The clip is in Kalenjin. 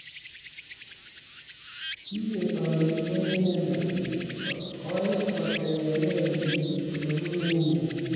kiketoi kekweny inendet ngot koit kotebegee biik olebunu inne